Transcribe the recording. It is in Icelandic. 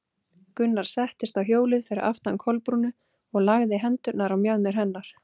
Gunnar settist á hjólið fyrir aftan Kolbrúnu og lagði hendurnar á mjaðmir hennar.